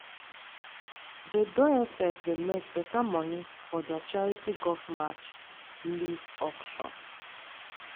dey diocese dey make beta money for their charity golf match leave auction.